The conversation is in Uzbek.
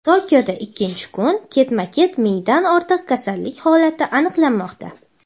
Tokioda ikkinchi kun ketma-ket mingdan ortiq kasallik holati aniqlanmoqda.